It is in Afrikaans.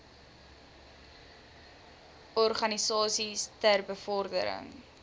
organisasies ter bevordering